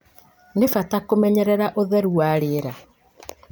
nĩ bata kũmenyerera ũtheru wa rĩera.